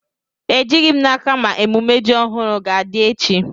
Ejighi m n'aka ma emume ji ohuru ga-adi echi